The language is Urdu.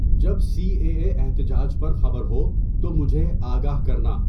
جب سی اے اے احتجاج پر خبر ہو تو مجھے آگاہ کرنا